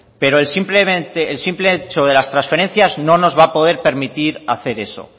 pero el simple hecho de las transferencias no nos va a poder permitir hacer eso